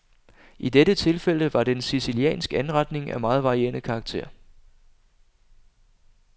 I dette tilfælde var det en siciliansk anretning af meget varierende karakter.